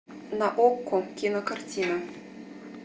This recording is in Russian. на окко кинокартина